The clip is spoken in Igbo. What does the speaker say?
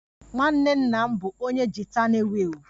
Nwanne nna m bụ onye gita na-ewu ewu